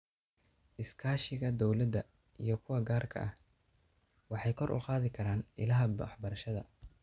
Iskaashiga dawladda iyo kuwa gaarka ah waxay kor u qaadi karaan ilaha waxbarashada.